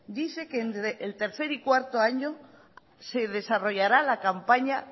dice que en el tercer y cuarto año se desarrollará la campaña